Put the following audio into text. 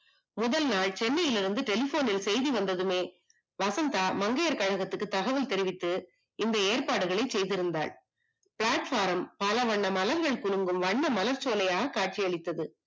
முதல் நாள் சென்னையில் இருந்து telephone னில் செய்தி வந்ததுமே வசந்தா மங்கையர் கழகத்துக்கு தகவல் தெரிவித்து இந்த ஏற்பாடுகளை செய்திருந்தாள் platform பலவண்ண மலர்கள் குலுங்கும் வண்ண மலர் சோலையாக காட்சி அளித்தது.